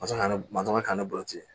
Masakɛ masa ka ne balo ten